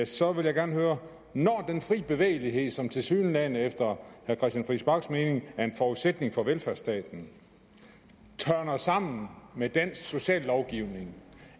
så vil jeg gerne høre når den frie bevægelighed som tilsyneladende efter herre christian friis bachs mening er en forudsætning for velfærdsstaten tørner sammen med dansk sociallovgivning